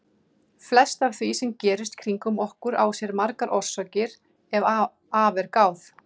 Flest af því sem gerist kringum okkur á sér margar orsakir ef að er gáð.